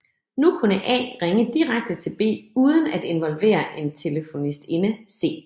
Nu kunne A ringe direkte til B uden at involvere en telefonistinde C